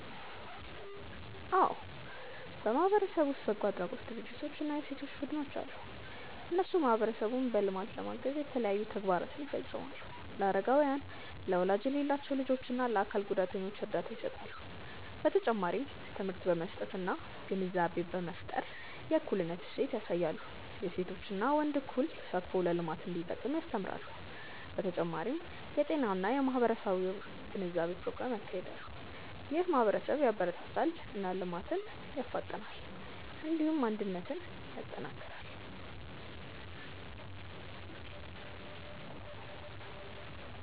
አዎ በማህበረሰብ ውስጥ በጎ አድራጎት ድርጅቶች እና የሴቶች ቡድኖች አሉ። እነሱ ማህበረሰቡን በልማት ለማገዝ የተለያዩ ተግባራትን ይፈጽማሉ። ለአረጋውያን፣ ለወላጅ የሌላቸው ልጆች እና ለአካል ጉዳተኞች እርዳታ ይሰጣሉ። በተጨማሪም ትምህርት በመስጠት እና ግንዛቤ በመፍጠር የእኩልነት እሴት ያሳያሉ። የሴቶችና ወንዶች እኩል ተሳትፎ ለልማት እንዲጠቅም ያስተምራሉ። በተጨማሪም የጤና እና የማህበራዊ ግንዛቤ ፕሮግራሞችን ያካሂዳሉ። ይህም ማህበረሰብን ያበረታታል እና ልማትን ያፋጥናል። እንዲሁም አንድነትን ያጠናክራል።